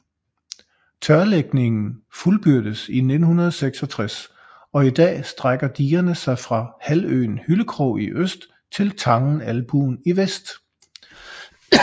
Tørlægningen fuldbyrdedes i 1966 og i dag strækker digerne sig fra halvøen Hyllekrog i øst til tangen Albuen i vest